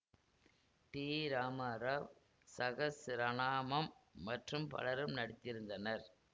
D Ramarao சஹஸ்ரனாமம் மற்றும் பலரும் நடித்திருந்தனர்